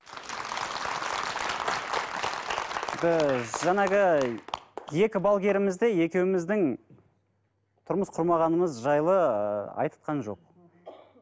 ііі жаңағы екі балгеріміз де екеуміздің тұрмыс құрмағанымыз жайлы ыыы айтқан жоқ мхм